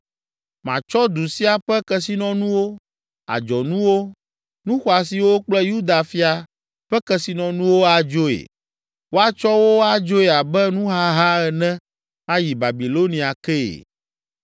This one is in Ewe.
Matsɔ du sia ƒe kesinɔnuwo, adzɔnuwo, nu xɔasiwo kple Yuda fia ƒe kesinɔnuwo adzoe. Woatsɔ wo adzoe abe nuhaha ene ayi Babilonia kee.